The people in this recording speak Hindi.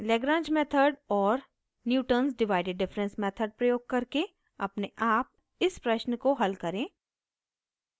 lagrange method और newtons divided difference method प्रयोग करके अपने आप इस प्रश्न को हल करें